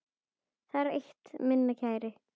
Það er eitt, minn kæri.